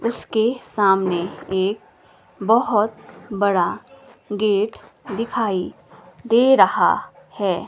उसके सामने एक बहुत बड़ा गेट दिखाई दे रहा है।